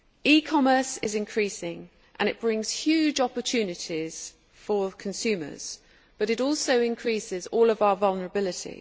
E commerce is increasing and brings huge opportunities for consumers, but it also increases all of our vulnerability.